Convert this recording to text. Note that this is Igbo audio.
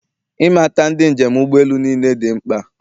Ịmata ndị njem ụgbọ elu niile dị mkpa